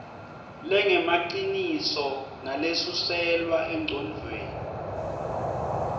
lengemaciniso nalesuselwa engcondvweni